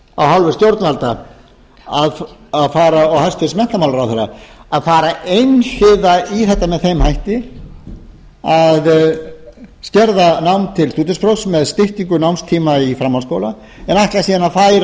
hálfu stjórnvalda og hæstvirtur menntamálaráðherra að fara einhliða í þetta með þeim hætti að skerða nám til stúdentsprófs með styttingu námstíma í framhaldsskóla en